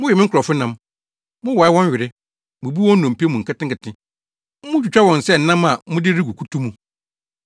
mowe me nkurɔfo nam, mowae wɔn were, bubu wɔn nnompe mu nketenkete; mutwitwa wɔn sɛ nam a mode regu kutu mu.”